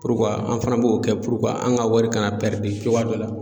an fana b'o kɛ an ka wari kana cogoya dɔ la.